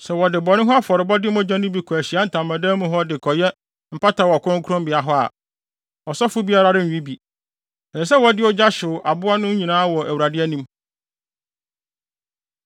Sɛ wɔde bɔne ho afɔrebɔde no mogya no bi kɔ Ahyiae Ntamadan mu hɔ de kɔyɛ mpata wɔ kronkronbea hɔ a, ɔsɔfo biara renwe bi. Ɛsɛ sɛ wɔde ogya hyew aboa no nyinaa wɔ Awurade anim.